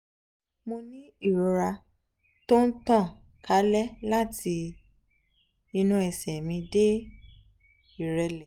mo ní ìrora tó ń tàn kálẹ̀ láti inú ẹ̀sẹ̀ mi dé ìrẹ́lẹ̀